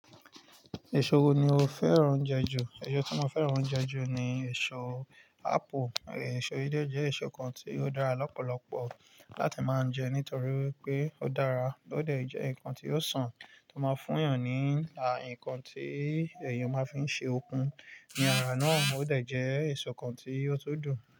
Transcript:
Èso wo ni o fẹ́ràn jẹ ju? Ẹ̀yọ tí mo fẹ́ràn jẹ ju ni èso ápù. Ẹ̀so yìí jẹ́ èso kan tí ó dára lọ́pọ̀lọpọ̀ láti máa ń jẹ nítorí pé ó dára, ó dẹ̀ jẹ́ ǹkan tí ó sàn, tó máa ń fún èèyàn ní àyìǹkan tí èèyàn máa fi ń ṣe okun ní ara náà, ó dẹ̀ jẹ́ èso kan tí ó tó dùn.